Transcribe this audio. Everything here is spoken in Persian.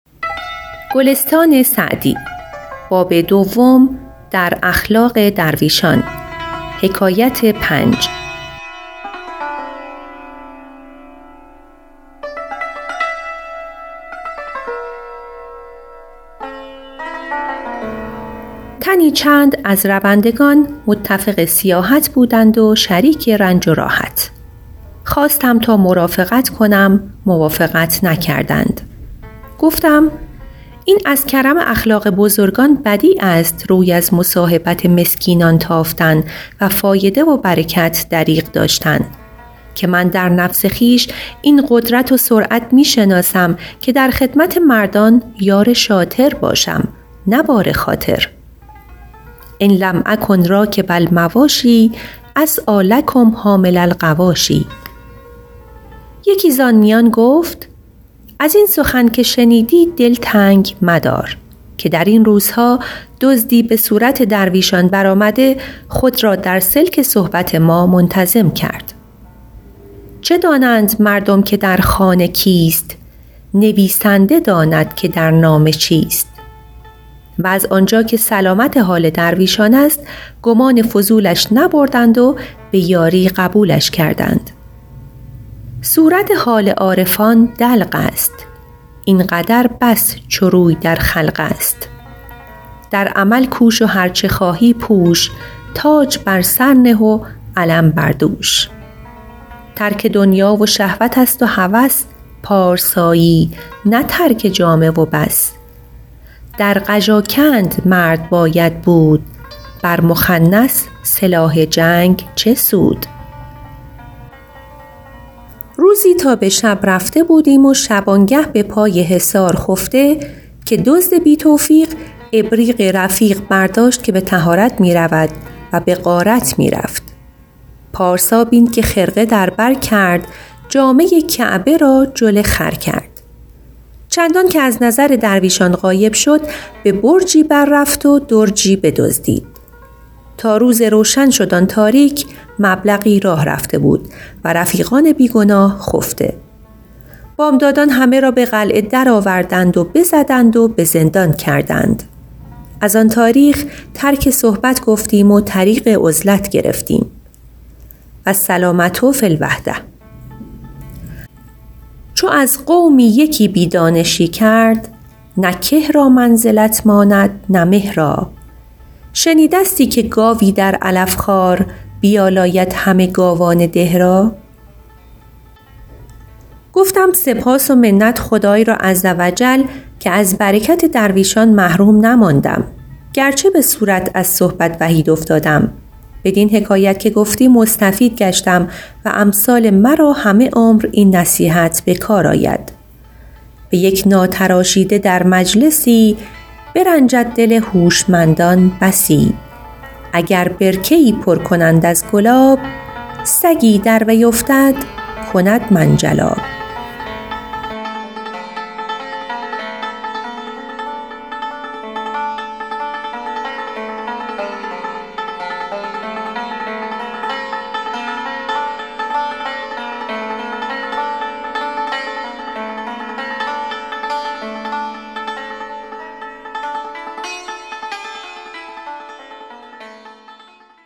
تنی چند از روندگان متفق سیاحت بودند و شریک رنج و راحت خواستم تا مرافقت کنم موافقت نکردند گفتم این از کرم اخلاق بزرگان بدیع است روی از مصاحبت مسکینان تافتن و فایده و برکت دریغ داشتن که من در نفس خویش این قدرت و سرعت می شناسم که در خدمت مردان یار شاطر باشم نه بار خاطر ان لم اکن راکب المواشی اسعیٰ لکم حامل الغواشی یکی زآن میان گفت از این سخن که شنیدی دل تنگ مدار که در این روزها دزدی به صورت درویشان برآمده خود را در سلک صحبت ما منتظم کرد چه دانند مردم که در خانه کیست نویسنده داند که در نامه چیست و از آنجا که سلامت حال درویشان است گمان فضولش نبردند و به یاری قبولش کردند صورت حال عارفان دلق است این قدر بس چو روی در خلق است در عمل کوش و هرچه خواهی پوش تاج بر سر نه و علم بر دوش ترک دنیا و شهوت است و هوس پارسایی نه ترک جامه و بس در قژاکند مرد باید بود بر مخنث سلاح جنگ چه سود روزی تا به شب رفته بودیم و شبانگه به پای حصار خفته که دزد بی توفیق ابریق رفیق برداشت که به طهارت می رود و به غارت می رفت پارسا بین که خرقه در بر کرد جامه کعبه را جل خر کرد چندان که از نظر درویشان غایب شد به برجی بر رفت و درجی بدزدید تا روز روشن شد آن تاریک مبلغی راه رفته بود و رفیقان بی گناه خفته بامدادان همه را به قلعه درآوردند و بزدند و به زندان کردند از آن تاریخ ترک صحبت گفتیم و طریق عزلت گرفتیم والسلامة فی الوحدة چو از قومی یکی بی دانشی کرد نه که را منزلت ماند نه مه را شنیدستی که گاوی در علف خوار بیالاید همه گاوان ده را گفتم سپاس و منت خدای را عزوجل که از برکت درویشان محروم نماندم گرچه به صورت از صحبت وحید افتادم بدین حکایت که گفتی مستفید گشتم و امثال مرا همه عمر این نصیحت به کار آید به یک ناتراشیده در مجلسی برنجد دل هوشمندان بسی اگر برکه ای پر کنند از گلاب سگی در وی افتد کند منجلاب